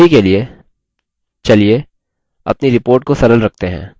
अभी के लिए चलिए अपनी report को सरल रखते हैं